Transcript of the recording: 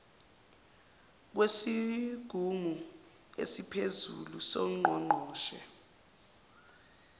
kwesigungu esiphezulu songqongqoshe